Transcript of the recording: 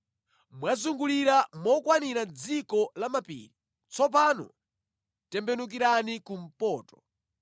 “Mwazungulira mokwanira dziko la mapiri, tsopano tembenukirani kumpoto.